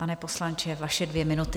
Pane poslanče, vaše dvě minuty.